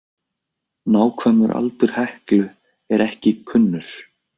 Nákvæmur aldur Heklu er ekki kunnur.